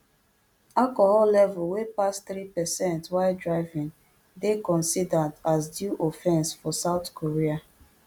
alcohol level wey pass three percent while driving dey considered as dui offense for south korea